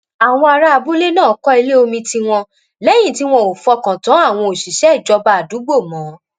àwọn ará abúlé náà kọ́ ilé omi tiwọn lẹ́yìn tí wọn ò fọkàn tán àwọn òṣìṣẹ́ ìjọba àdúgbò mọ́